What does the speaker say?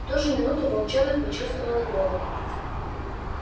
в ту же минуту волчонок почувствовал голод